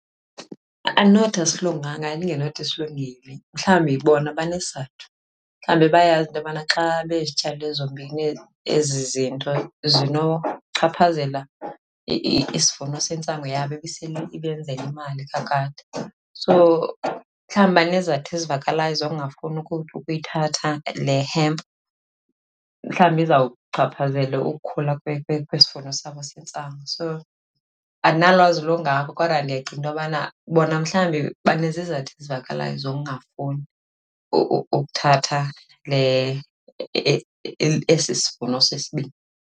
Andinothi asilunganga, ndingenothi silungile. Mhlawumbi bona banesizathu, mhlawumbi bayayazi into yobana xa bezityalile zombini ezi zinto zinokuchaphazela isivuno sentsangu yabo ibiseyibenzela imali kakade. So, mhlawumbi banezizathu ezivakalayo zokungafuni ukuyithatha le hemp. Mhlawumbi izawuchaphazela ukukhula kwesivuno sabo sentsango. So, andinalwazi lungako kodwa ndiyacinga into yobana bona mhlawumbi banezizathu ezivakalayo zokungafuni ukuthatha le, esi sivuno sesibini.